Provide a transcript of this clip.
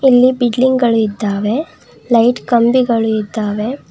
ಇಲ್ಲಿ ಬಿಡ್ಲಿಂಗ್ ಅಳಿದ್ದಾವೆ ಲೈಟ್ ಕಂಬಿಗಳಿದ್ದಾವೆ.